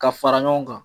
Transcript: Ka fara ɲɔgɔn kan